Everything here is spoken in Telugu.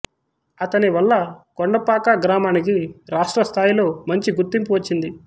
అతని వల్ల కొండపాక గ్రామానికి రాష్ట్ర స్థాయిలో మంచి గుర్తింపు వచ్చింది